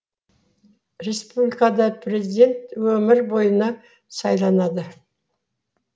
республикада президент өмір бойына сайланады